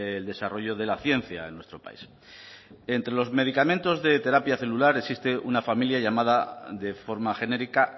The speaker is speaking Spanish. el desarrollo de la ciencia en nuestro país entre los medicamentos de terapia celular existe una familia llamada de forma genérica